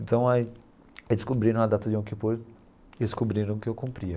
Então aí eles descobriram a data do Yom Kippur e descobriram que eu cumpria.